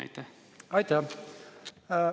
Aitäh!